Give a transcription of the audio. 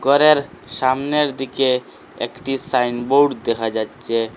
উপরের সামনের দিকে একটি সাইনবৌর্ড দেখা যাচ্ছে।